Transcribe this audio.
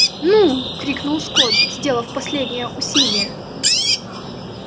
ну крикнул скотт сделав последнее усилие